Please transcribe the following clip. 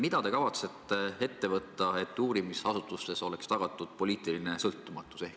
Mida te kavatsete ette võtta, et uurimisasutustes oleks tagatud poliitiline sõltumatus?